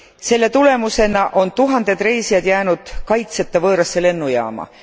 Selle tulemusena on tuhanded reisijad jäänud kaitseta võõrasse lennujaama.